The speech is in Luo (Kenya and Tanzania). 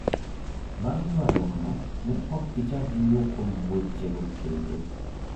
Bang' ywaruokno, ne ok gichak giwuo kuom wechego kendo".